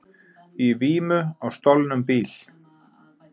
Í vímu á stolnum bíl